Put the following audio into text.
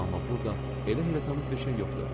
Amma burda elə heyrətamiz bir şey yox idi.